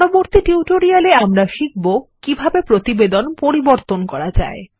পরবর্তী টিউটোরিয়াল এ আমরা শিখব কিভাবে প্রতিবেদন পরিবর্তন করা যায়